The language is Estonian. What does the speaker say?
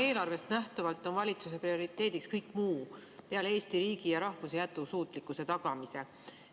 Eelarvest nähtuvalt on valitsuse prioriteediks kõik muu peale Eesti riigi ja rahvuse jätkusuutlikkuse tagamise.